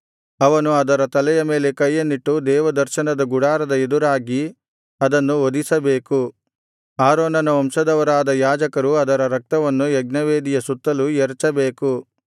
ಅವನು ಅದರ ತಲೆಯ ಮೇಲೆ ಕೈಯನ್ನಿಟ್ಟು ದೇವದರ್ಶನದ ಗುಡಾರದ ಎದುರಾಗಿ ಅದನ್ನು ವಧಿಸಬೇಕು ಆರೋನನ ವಂಶದವರಾದ ಯಾಜಕರು ಅದರ ರಕ್ತವನ್ನು ಯಜ್ಞವೇದಿಯ ಸುತ್ತಲೂ ಎರಚಬೇಕು